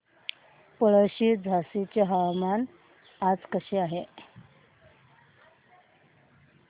पळशी झाशीचे हवामान आज कसे आहे